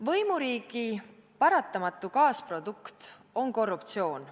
Võimuriigi paratamatu kaasprodukt on korruptsioon.